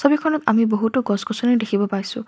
ছবিখনত আমি বহুতো গছ-গছনি দেখিব পাইছোঁ।